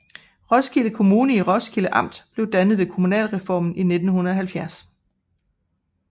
Roskilde Kommune i Roskilde Amt blev dannet ved kommunalreformen i 1970